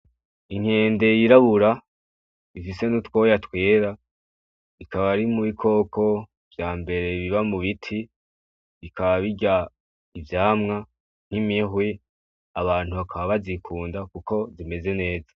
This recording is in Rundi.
Inkende yirabura ifise n'utwoya twera ikaba iri mubikoko vyambere biba mubiti bikaba birya ivyamwa n'imihwi, abantu bakab bazikunda kuko zimeze neza.